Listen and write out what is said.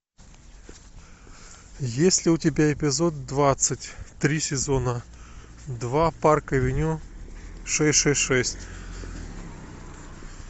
есть ли у тебя эпизод двадцать три сезона два парк авеню шесть шесть шесть